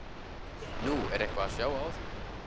Nú, er eitthvað að sjá á því?